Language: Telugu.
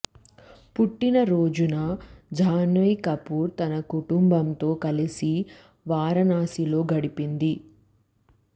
పుట్టిన రోజున జాహ్నవి కపూర్ తన కుటుంబంతో కలిసి వారణాసిలో గడుపింది